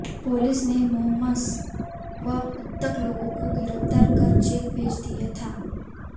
police ने मोहसम व उक्त लोगों को गिरफ्तार कर जेल भेज दिया था